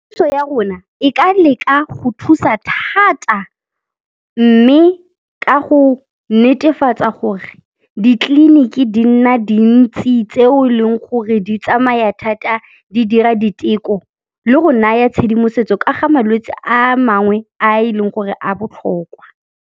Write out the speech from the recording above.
Puso ya rona e ka leka go thusa thata mme ka go netefatsa gore ditleliniki di nna dintsi tseo e leng gore di tsamaya thata di dira diteko le go naya tshedimosetso ka ga malwetse a mangwe a e leng gore a botlhokwa.